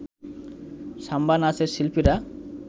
সাম্বা নাচের শিল্পীরা